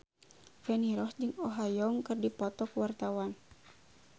Feni Rose jeung Oh Ha Young keur dipoto ku wartawan